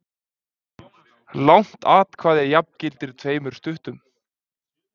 Langt atkvæði jafngilti tveimur stuttum.